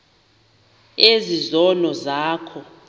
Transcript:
ezi zono zakho